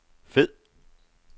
fed